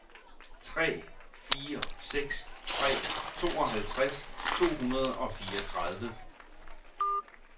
tre fire seks tre tooghalvtreds to hundrede og fireogtredive